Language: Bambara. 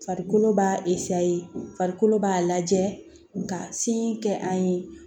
Farikolo b'a farikolo b'a lajɛ nka sin kɛ an ye